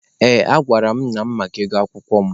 Ee, agwara m nna mụ maka ụgwọ akwụkwọ mụ.